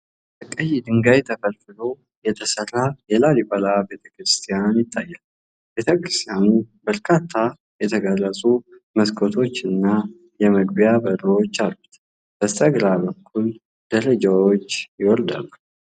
ከቀይ ድንጋይ ተፈልፍሎ የተሰራ የላሊበላ ቤተክርስቲያን ይታያል። ቤተክርስቲያኑ በርካታ የተቀረጹ መስኮቶችና የመግቢያ በሮች አሉት ። በስተግራ በኩል ደረጃዎች ይወርዳሉ ።